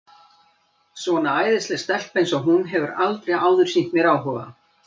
Svona æðisleg stelpa eins og hún hefur aldrei áður sýnt mér áhuga.